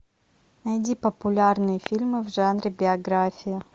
найди популярные фильмы в жанре биография